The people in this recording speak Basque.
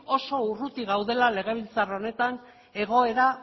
oso urruti gaudela legebiltzar honetan egoera